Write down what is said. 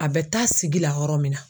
A bɛ taa sigi la yɔrɔ min na